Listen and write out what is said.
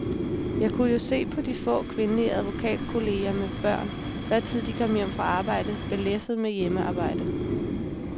Jeg kunne jo se på de få kvindelige advokatkolleger med børn, hvad tid de kom hjem fra arbejde, belæsset med hjemmearbejde.